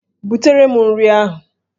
Butere m nri ahụ!